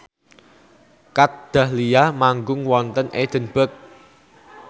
Kat Dahlia manggung wonten Edinburgh